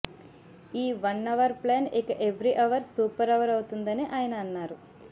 ఈ one hour plan ఇక every hour super hour అవుతుందని ఆయన అన్నారు